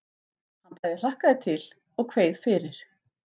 Hann bæði hlakkaði til og kveið fyrir.